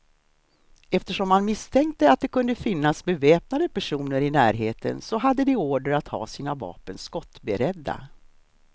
Eftersom man misstänkte att det kunde finnas beväpnade personer i närheten, så hade de order att ha sina vapen skottberedda.